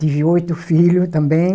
Tive oito filhos também.